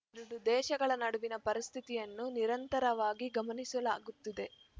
ಎರಡು ದೇಶಗಳ ನಡುವಿನ ಪರಿಸ್ಥಿತಿಯನ್ನು ನಿರಂತರವಾಗಿ ಗಮನಿಸಲಾಗುತ್ತಿದೆ